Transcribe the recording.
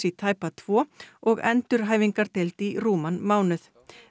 í tæpa tvo og endurhæfingardeild í rúman mánuð